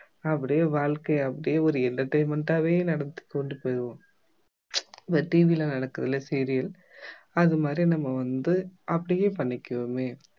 அப்படியே வாழ்க்கைய அப்படியே ஒரு entertainment ஆவே நடத்திக் கொண்டு போயிடுவோம் இந்த TV ல நடக்குது இல்ல serial அது மாதிரியே நம்ம வந்து அப்படியே பண்ணிக்குவோமே